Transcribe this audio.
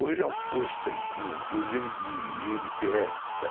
Hoje é um posto, inclusive, de i ene pê esse